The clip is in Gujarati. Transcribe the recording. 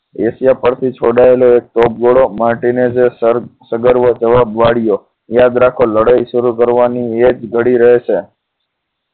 એશિયા પરથી છોડાયેલો એક ટોપ ગોળો માટીને જ સગર્વવો જવાબ વાળીયો યાદ રાખો લડાઈ શરૂ કરવાની એકધડી રહે છે